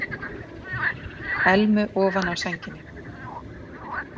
Elmu ofan á sænginni.